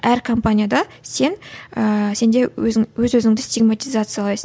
әр компанияда сен ыыы сенде өзің өз өзіңді сигматизациялайсың